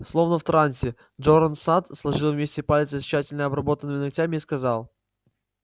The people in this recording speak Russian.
словно в трансе джоран сатт сложил вместе пальцы с тщательно обработанными ногтями и сказал